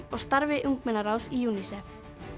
og starfi ungmennaráðs UNICEF